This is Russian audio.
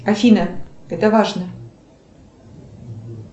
афина это важно